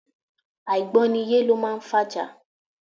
Àìgbọ́niyé lọ máa ń fa ìjà.